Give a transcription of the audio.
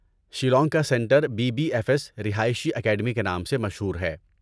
شیلانگ کا centre B B F S رہائشی academy کے نام سے مشہور ہے۔